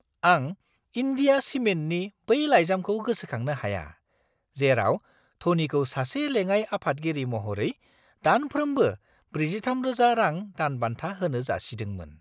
आं इन्डिया सिमेन्टनि बै लाइजामखौ गोसोखांनो हाया, जेराव ध'नीखौ सासे लेङाइ-आफादगिरि महरै दानफ्रोमबो 43,000 रां दानबान्था होनो जासिदोंमोन!